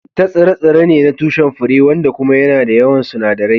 Chitta tsire-tsire ne na tushen fure wanda kuma yana da yawan sunadarai.